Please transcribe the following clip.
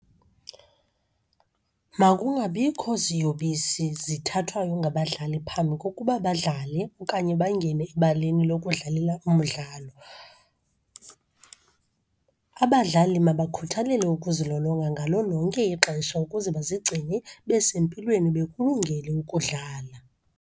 Makungabikho ziyobisi zithathwayo ngabadlali phambi kokuba badlale okanye bangene ebaleni lokudlalela umdlalo. Abadlali mabakhuthalele ukuzilolonga ngalo lonke ixesha ukuze bazigcine besempilweni bekulungele ukudlala.